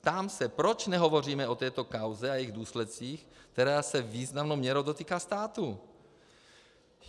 Ptám se: Proč nehovoříme o této kauze a jejich důsledcích, která se významnou měrou dotýká státu?